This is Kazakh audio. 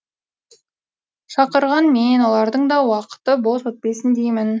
шақырған мен олардың да уақыты бос өтпесін деймін